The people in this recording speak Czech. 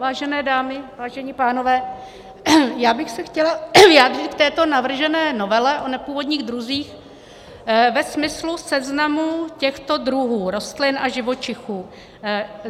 Vážené dámy, vážení pánové, já bych se chtěla vyjádřit k této navržené novele o nepůvodních druzích ve smyslu seznamu těchto druhů rostlin a živočichů.